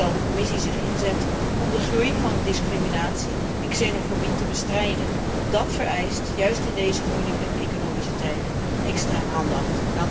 En zal de Commissie zich inzetten om de toename van discriminatie en xenofobie te bestrijden? Dat vereist, juist in deze moeilijke economische tijden, extra aandacht.